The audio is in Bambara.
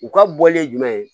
U ka bɔlen ye jumɛn ye